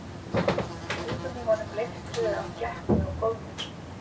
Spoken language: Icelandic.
Og augun í honum leiftruðu af glettni og góðmennsku.